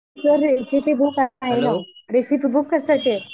Sir recipe book आहे ना recipe book कशासाठी आहे?